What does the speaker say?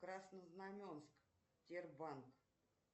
краснознаменск сбербанк